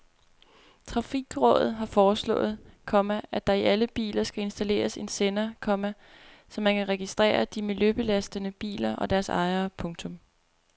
Trafikrådet har foreslået, komma at der i alle biler skal installeres en sender, komma så man kan registrere de miljøbelastende biler og deres ejere. punktum